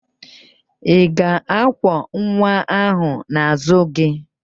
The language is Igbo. Ị ga-akwọ nwa ahụ n'azụ gị?